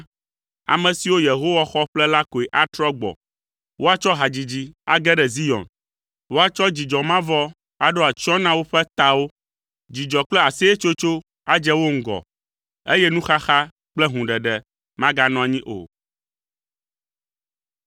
Ame siwo Yehowa xɔ ƒle la koe atrɔ gbɔ. Woatsɔ hadzidzi age ɖe Zion; woatsɔ dzidzɔ mavɔ aɖo atsyɔ̃ na woƒe tawo. Dzidzɔ kple aseyetsotso adze wo ŋgɔ, eye nuxaxa kple hũɖeɖe maganɔ anyi o.